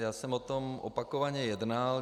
Já jsem o tom opakovaně jednal.